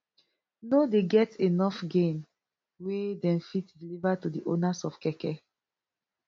no dey get enof gain wey dem fit deliver to di owners of keke